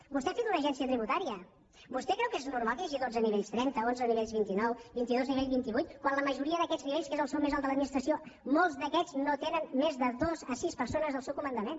vostè ha fet una agència tributària vostè creu que és normal que hi hagi dotze nivells trenta onze nivells vint nou vint i dos nivells vint vuit quan la majoria d’aquests nivells que és el sou més alt de l’administració molts d’aquests no tenen més de dos a sis persones al seu comandament